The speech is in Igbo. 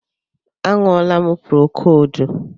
A ṅụọlam procodu